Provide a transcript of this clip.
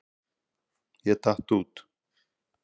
Ég datt út.